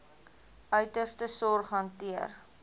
uiterste sorg hanteer